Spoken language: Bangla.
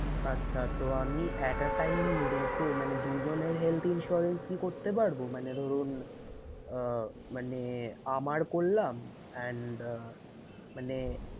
আচ্ছা তো আমি at a time দুটো মানে দুজনের health insurance কি করতে পারবো? মানে ধরুন আহ মানে আমার করলাম and মানে